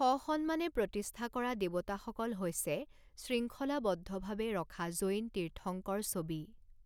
স সন্মানে প্ৰতিস্থা কৰা দেৱতাসকল হৈছে শৃংখলাবদ্ধভাৱে ৰখা জৈন তীৰ্থংকৰ ছবি।